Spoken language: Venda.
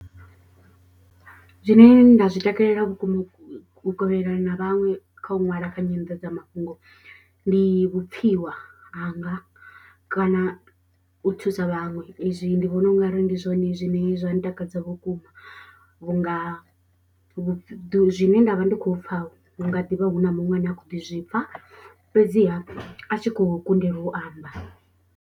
Zwine nda zwi takalela vhukuma u kovhelana na vhaṅwe kha u ṅwala kha nyandadzamafhungo. Ndi vhupfhiwa hanga kana u thusa vhaṅwe izwi ndi vhona ungari ndi zwone zwine zwa ntakadza vhukuma. Vhunga vhu zwine nda vha ndi khou pfha hu nga ḓivha hu na muṅwe ane a khou ḓi zwipfa. Fhedziha a tshi khou kundelwa u amba.